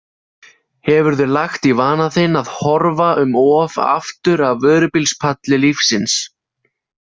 Hefurðu lagt í vana þinn að horfa um of aftur af vörubílspalli lífsins?